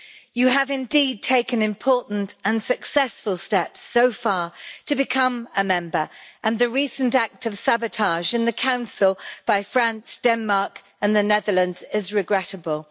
You have indeed taken important and successful steps so far to become a member, and the recent act of sabotage in the Council by France, Denmark and the Netherlands is regrettable.